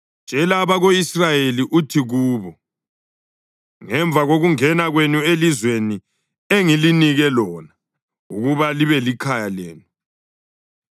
“Tshela abako-Israyeli uthi kubo: ‘Ngemva kokungena kwenu elizweni engilinika lona ukuba libe likhaya lenu,